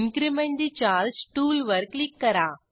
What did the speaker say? increment ठे charge टूलवर click करा